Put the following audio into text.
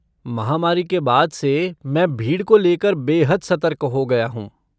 महामारी के बाद से मैं भीड़ को लेकर बेहद सतर्क हो गया हूँ।